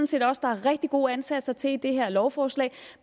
set også der er rigtig gode ansatser til i det her lovforslag